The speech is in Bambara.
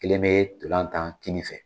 Kelen be ntolan tan kini fɛ.